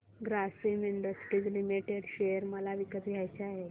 Grasim industries limited share मला विकत घ्यायचे आहेत